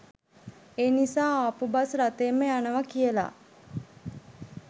ඒ නිසා ආපු බස් රථයෙන්ම යනවා කියලා.